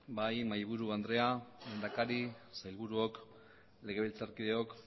bai mahaiburu andrea lehendakari sailburuok legebiltzarkideok